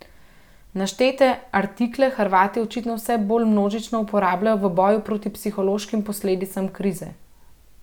Naštete artikle Hrvati očitno vse bolj množično uporabljajo v boju proti psihološkim posledicam krize.